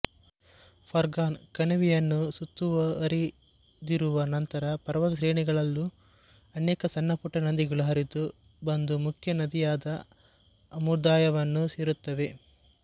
ಫರ್ಗನ್ ಕಣಿವೆಯನ್ನು ಸುತ್ತುವರಿದಿರುವ ಇತರ ಪರ್ವತಶ್ರೇಣಿಗಳಲ್ಲೂ ಅನೇಕ ಸಣ್ಣಪುಟ್ಟ ನದಿಗಳು ಹರಿದು ಬಂದು ಮುಖ್ಯ ನದಿಯಾದ ಅಮೂದಾರ್ಯವನ್ನು ಸೇರುತ್ತವೆ